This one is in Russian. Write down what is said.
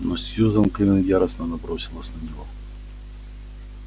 но сьюзен кэлвин яростно набросилась на него